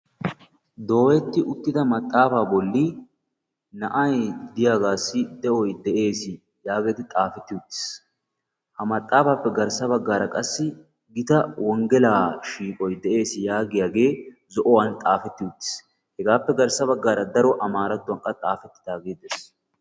Dooyeti uttida maxaafa bolli na'ay diyaagassi de'oy de'ees yaageti xaafeti uttiis; ha maxaafappe garssa baggara qassi gita wonggelaa shiiqoy de'ees yaagiyaage zo'uwaan xaafeti uttiis; hegappe garssa baggara daro amarattuwankka xaafetidaage de'ees.